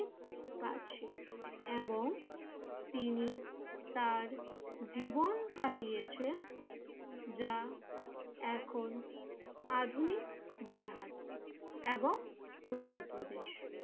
কাছে এবং তিনি তার জীবন কাটিয়েছেন যা এখন আধুনিক বিহার এবং উত্তর প্রদেশ।